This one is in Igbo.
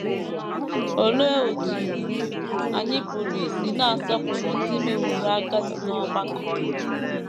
Olee otú anyị pụrụ isi na - asọpụrụ ndị meworo agadi n’ọgbakọ?